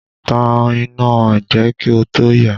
Tan iná ẹgbẹ́ kí o tó yà!